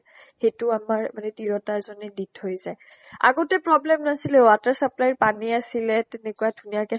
সেইটো আমাৰ মানে তিৰোতা এজনী দি থৈ যায়। আগতে problem নাছিলে। water supply ৰ পানী আছিলে , তেনেকুৱা ধুনীয়াকে